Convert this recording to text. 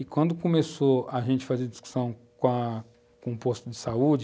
E quando começou a gente a fazer discussão com a , com o posto de saúde,